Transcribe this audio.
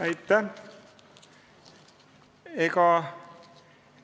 Aitäh!